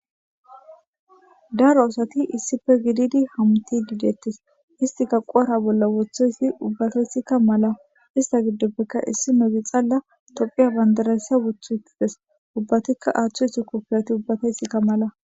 Daro asati issipe gididi hamutidetes isitika qophe huphe bolla wothidi issi mala isitapeka issinozi xala topheya banidira kushen oyiqides